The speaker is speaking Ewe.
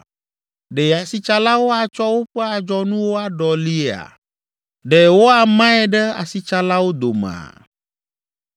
Ɖe asitsalawo atsɔ woƒe adzɔnuwo aɖɔliia? Ɖe woamae ɖe asitsalawo domea?